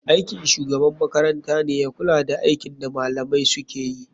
Aikin shugaban makarantane ya kula da aikin da malamai sukeyi.